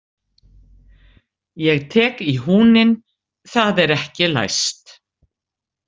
Ég tek í húninn, það er ekki læst.